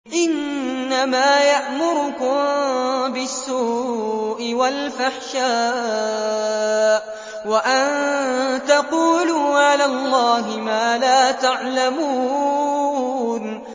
إِنَّمَا يَأْمُرُكُم بِالسُّوءِ وَالْفَحْشَاءِ وَأَن تَقُولُوا عَلَى اللَّهِ مَا لَا تَعْلَمُونَ